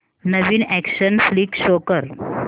नवीन action flick show कर